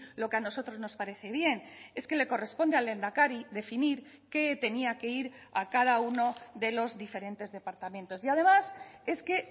lo que a nosotros nos parece bien es que le corresponde al lehendakari definir que tenía que ir a cada uno de los diferentes departamentos y además es que